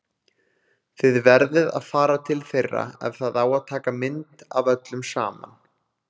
Þið verðið að fara til þeirra ef það á að taka mynd af öllum saman!